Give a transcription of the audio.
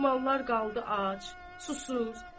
Mallar qaldı ac, susuz.